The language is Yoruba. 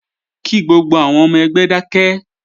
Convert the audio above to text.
Kí gbogbo àwọn ọmọ ẹgbẹ́ dákẹ́!